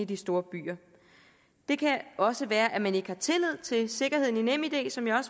de store byer det kan også være at man ikke har tillid til sikkerheden i nemid som jeg